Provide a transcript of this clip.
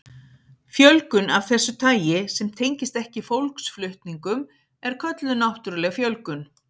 Fjölgun af þessu tagi sem tengist ekki fólksflutningum er kölluð náttúruleg fjölgun.